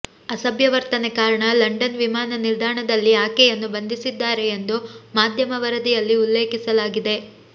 ಅಸಭ್ಯ ವರ್ತನೆ ಕಾರಣ ಲಂಡನ್ ವಿಮಾನ ನಿಲ್ದಾಣದಲ್ಲಿ ಆಕೆಯನ್ನು ಬಂಧಿಸಿದ್ದಾರೆ ಎಂದು ಮಾಧ್ಯಮ ವರದಿಯಲ್ಲಿ ಉಲ್ಲೇಖಿಸಲಾಗಿದೆ